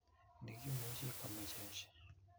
Ne ki'muchi komechech,